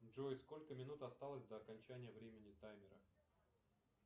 джой сколько минут осталось до окончания времени таймера